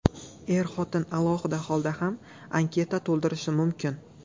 Er-xotin alohida holda ham anketa to‘ldirishi mumkin.